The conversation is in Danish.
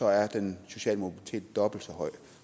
er den sociale mobilitet dobbelt så høj